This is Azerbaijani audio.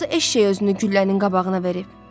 Hansı eşşək özünü güllənin qabağına verir?